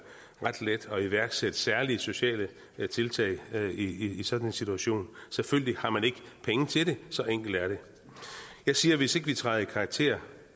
ret let at iværksætte særlige sociale tiltag i sådan en situation selvfølgelig har man ikke penge til det så enkelt er det jeg siger at hvis ikke vi træder i karakter